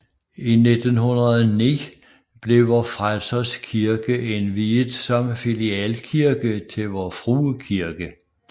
I 1909 blev Vor Frelsers Kirke indviet som filialkirke til Vor Frue Kirke